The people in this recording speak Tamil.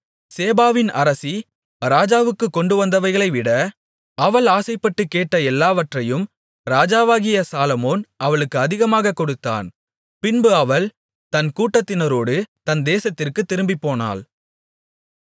சேபாவின் அரசி ராஜாவுக்குக் கொண்டுவந்தவைகளைவிட அவள் ஆசைப்பட்டுக் கேட்ட எல்லாவற்றையும் ராஜாவாகிய சாலொமோன் அவளுக்கு அதிகமாகக் கொடுத்தான் பின்பு அவள் தன் கூட்டத்தினரோடு தன் தேசத்திற்குத் திரும்பிப்போனாள்